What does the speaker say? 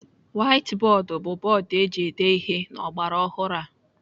Waiti bọọdụ bụ bọọdụ eji ede ihe n'ọgbaraọhụrụ a.